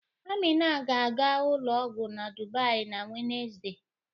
Amina ga-aga ụlọ ọgwọ na Dubai na Wenezde.